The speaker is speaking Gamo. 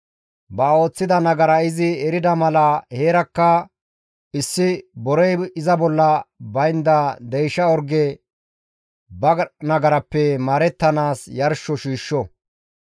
ba ooththida nagara izi erida mala heerakka issi borey iza bolla baynda deysha orge ba nagarappe maarettanaas yarsho shiishsho.